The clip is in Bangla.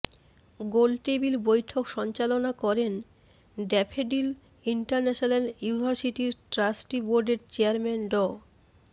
গোলটেবিল বৈঠক সঞ্চালনা করেন ড্যাফোডিল ইন্টারন্যাশনাল ইউনিভার্সিটির ট্রাস্টি বোর্ডের চেয়ারম্যান ড